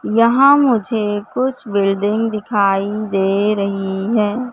यहां मुझे कुछ बिल्डिंग दिखाई दे रही है।